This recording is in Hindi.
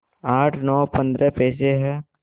आठ नौ पंद्रह पैसे हैं